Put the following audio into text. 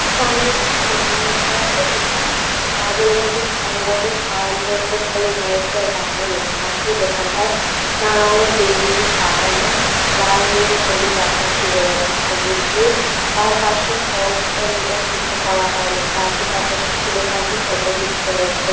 সামনে একটি দোকান দেখা যাচ্ছে যেখানে আজ এই দোকানটির সাইনবোর্ড -এ ড্রেসেস বলে ইংরেজিতে আর বাংলায় লেখা আছে দোকানটায় নানা রঙের বেলুন দিয়ে সাজানো লাল নীল হলুদ আকাশী গোলাপ সবুজ দিয়ে তার পাশে ফলস অ্যান্ড ও পিকো করা হয় লেখা আছে তার পাশে একটি দোকানে টেইলারস ব--